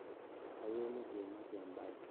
kayieu nikimaki ebae